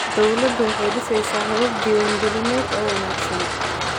Dawladdu waxay dhisaysaa habab diwaangelineed oo wanaagsan.